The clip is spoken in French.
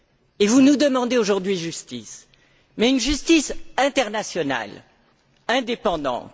Et vous nous demandez aujourd'hui justice, mais une justice internationale, indépendante.